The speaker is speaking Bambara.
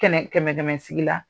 Kɛnɛ kɛmɛ kɛmɛ sigi la